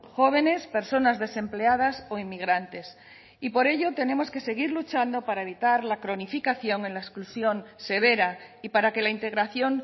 jóvenes personas desempleadas o inmigrantes y por ello tenemos que seguir luchando para evitar la cronificación en la exclusión severa y para que la integración